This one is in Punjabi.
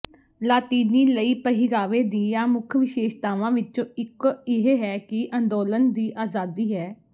ਲਾਤੀਨੀ ਲਈ ਪਹਿਰਾਵੇ ਦੀਆਂ ਮੁੱਖ ਵਿਸ਼ੇਸ਼ਤਾਵਾਂ ਵਿਚੋਂ ਇੱਕ ਇਹ ਹੈ ਕਿ ਅੰਦੋਲਨ ਦੀ ਆਜ਼ਾਦੀ ਹੈ